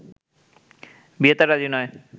বিয়েতে রাজি নয়